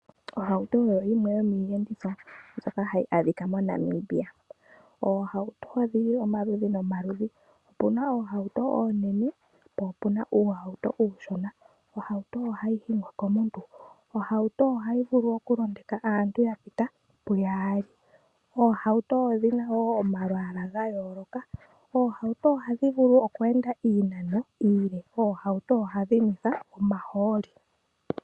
Ohauto oyo yimwe yomiiyenditho mbyoka hayi adhika moNamibia. Oohauto odhili omaludhi nomaludhi . Opuna oohauto oonene , po opuna uuhauto uushona. Yo ohayi hingwa komuntu. Ohayi vulu okulondeka aantu yapita puyaali . Odhi na woo omalwaala gayooloka. Ohadhi vulu okweenda iinano iile. Ohadhi nu omahooli.